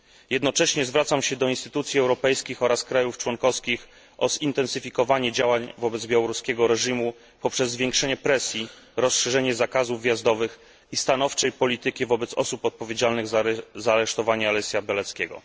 Jednocześnie zwracam się do instytucji europejskich oraz państw członkowskich o zintensyfikowanie działań wobec białoruskiego reżimu poprzez zwiększenie presji, rozszerzenie zakazów wjazdowych i stanowczą politykę wobec osób odpowiedzialnych za aresztowanie Alesia Białackiego.